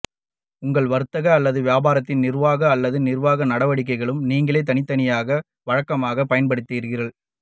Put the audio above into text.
உங்கள் வர்த்தக அல்லது வியாபாரத்தின் நிர்வாக அல்லது நிர்வாக நடவடிக்கைகளுக்கு நீங்கள் தனித்தனியாகவும் வழக்கமாகவும் பயன்படுத்துகிறீர்கள்